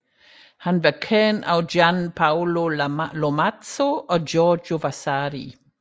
Han var kendt af Gian Paolo Lomazzo og Giorgio Vasari